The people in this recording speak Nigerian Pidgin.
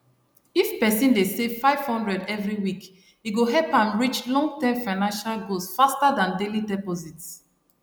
if person dey save 500 every week e go help am reach longterm financial goals faster than daily deposits